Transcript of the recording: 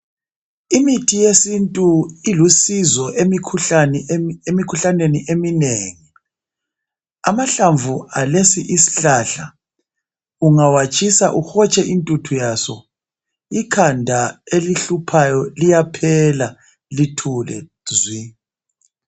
Imithi yesintu ilusizo emikhuhlaneni eminengi. Amahlamvu alesi isihlahla ungawatshisa uhotshe intuthu yaso ikhanda elihluphayo liyaphela lithule zwi.